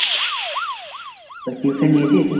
তা tuition নিয়েছিস?